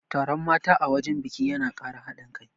Taron mata a wajen biki yana Kara haɗin kai